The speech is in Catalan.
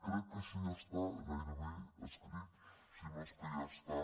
crec que això ja està gairebé escrit si no és que ja està